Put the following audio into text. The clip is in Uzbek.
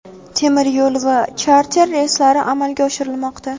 temir yo‘l va charter reyslari amalga oshirilmoqda.